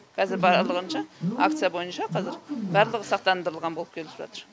қазір барлығынша акция бойынша қазір барлығы сақтандырылған болып келіп жатыр